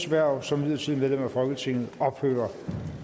hverv som midlertidigt medlem af folketinget ophører